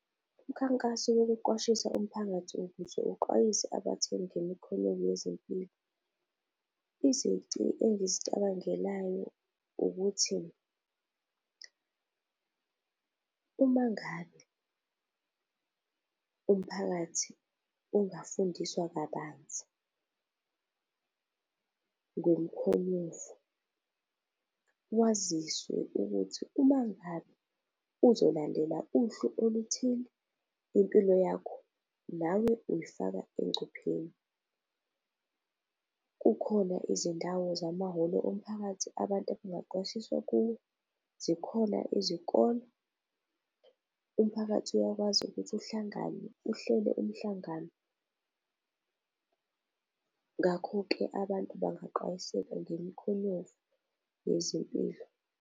Imikhankaso yokuqwashisa umphakathi ukuze uxwayise abathengi ngemikhonyovu yezempilo, izici engizicabangelayo ukuthi uma ngabe umphakathi ungafundiswa kabanzi ngomkhonyovu, waziswe ukuthi uma ngabe uzolandela uhlu oluthile impilo yakho nawe uyifaka engcupheni. Kukhona izindawo zamahholo omphakathi abantu abangaqwashiswa kuwo, zikhona izikole. Umphakathi uyakwazi ukuthi uhlangane uhlele umhlangano. Ngakho-ke, abantu bangaxwayiseka ngemkhonyovu yezempilo.